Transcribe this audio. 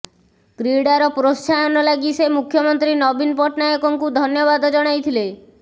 କ୍ରୀଡ଼ାର ପ୍ରୋତ୍ସାହନ ଲାଗି ସେ ମୁଖ୍ୟମନ୍ତ୍ରୀ ନବୀନ ପଟ୍ଟନାୟକଙ୍କୁ ଧନ୍ୟବାଦ ଜଣାଇଥିଲେ